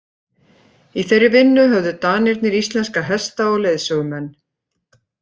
Í þeirri vinnu höfðu Danirnir íslenska hesta og leiðsögumenn.